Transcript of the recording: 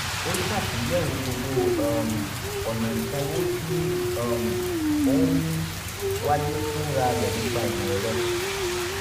ó ṣàtúnyẹ̀wò gbogbo um ọ̀nà ìsánwò tí um ó ń wáyé fún rárẹ̀ nípa ìmọ̀ ẹ̀rọ